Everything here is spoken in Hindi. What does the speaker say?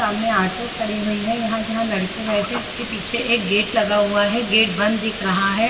सामने ऑटो खड़ी हुई है यहाँ जहाँ लड़के बैठे है उसके पीछे एक गेट लगा हुआ है गेट बंद दिख रहा है।